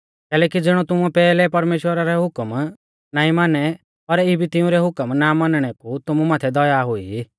कैलैकि ज़िणौ तुमुऐ पैहलै परमेश्‍वरा री हुकम नाईं मानी पर इबी तिऊं री हुकम ना मानणै कु तुमु माथै दया हुई